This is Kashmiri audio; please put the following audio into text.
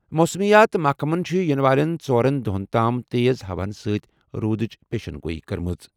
موسمیات محکمَن چھِ یِنہٕ والٮ۪ن ژۄن دۄہَن تام تیز ہوہَن سۭتۍ روٗدٕچ پیشین گوئی کٔرمٕژ۔